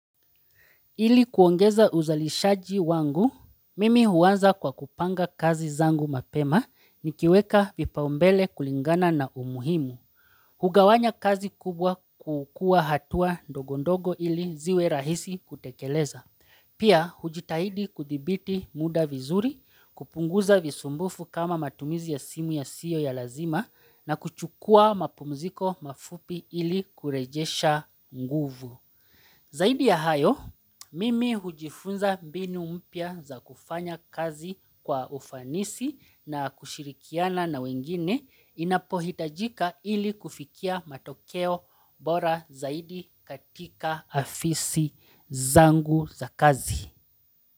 Ili kuongeza uzalishaji wangu, mimi huanza kwa kupanga kazi zangu mapema, nikiweka vipaumbele kulingana na umuhimu. Hugawanya kazi kubwa kukua hatua dogondogo ili ziwe rahisi kutekeleza. Pia, hujitahidi kudhibiti muda vizuri, kupunguza visumbufu kama matumizi ya simu ya siyo ya lazima na kuchukua mapumziko mafupi ili kurejesha nguvu. Zaidi ya hayo, mimi hujifunza mbinu mpya za kufanya kazi kwa ufanisi na kushirikiana na wengine inapohitajika ili kufikia matokeo bora zaidi katika afisi zangu za kazi.